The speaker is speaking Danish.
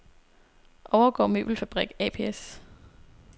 Overgaard Møbelfabrik ApS